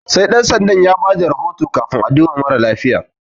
Sai Ɗan sandan ya bayar da rahoto kafin a duba mara lafiyan.